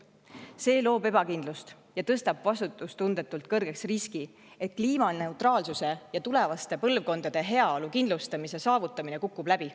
loob ebakindlust ja tõstab vastutustundetult kõrgeks riski, et kliimaneutraalsuse ja tulevaste põlvkondade heaolu kindlustamise saavutamine kukub läbi.